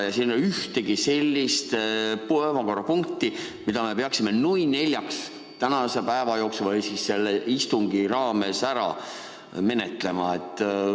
Ja siin ei ole ühtegi sellist päevakorrapunkti, mida me peaksime, nui neljaks, tänase päeva jooksul või siis selle istungi raames ära menetlema.